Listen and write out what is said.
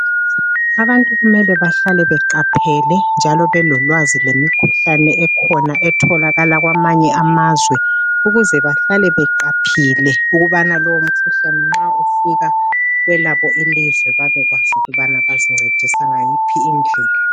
Abantu kumele bahlale beqaphele njalo belolwazi lemikhuhlane ekhona etholakala kwamanye amazwe ukuze bahlale beqaphile ukubana lowo mkhuhlane nxa ufika kwelabo ilizwe babekwazi ukubana bazincedisa ngayiphi indlela.